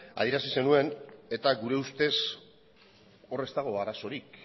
adierazi zenuen eta gure ustez hor ez dago arazorik